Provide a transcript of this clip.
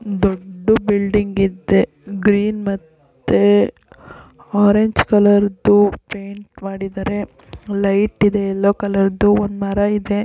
ಒಂದು ದೊಡ್ಡ ಬಿಲ್ಡಿಂಗ್ ಇದೆ ಗ್ರೀನ್ ಮತ್ತೆ ಆರೆಂಜ್ ಕಲರ್ ಪೇಂಟ್ ಮಾಡಿದ್ದಾರೆ ಲೈಟ್ ಇದೆ ಎಲ್ಲೋ ಕಲರ್ ದು ಮರ ಇದೆ